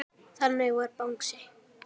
Þannig var Bangsi.